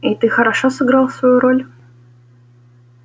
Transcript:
и ты хорошо сыграл свою роль